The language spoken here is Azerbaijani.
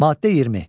Maddə 20.